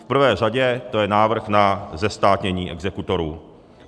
V prvé řadě to je návrh na zestátnění exekutorů.